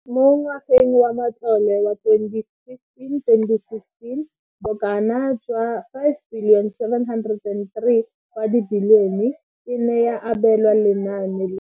Mo ngwageng wa matlole wa 2015, 2016, bokanaka R5 703 bilione e ne ya abelwa lenaane leno.